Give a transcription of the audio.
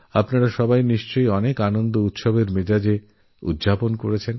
আপনারা সবাই দীপাবলী খুব হর্ষোল্লাসের মধ্যে দিয়ে কাটিয়েছেননিশ্চয়ই